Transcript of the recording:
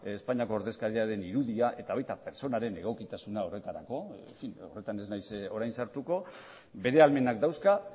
espainiako ordezkariaren irudia eta baita pertsonaren egokitasuna horretarako horretan ez naiz orain sartuko bere ahalmenak dauzka